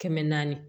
Kɛmɛ naani